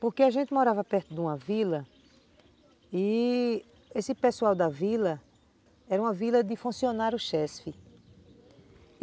Porque a gente morava perto de uma vila e esse pessoal da vila era uma vila de funcionários chesfi.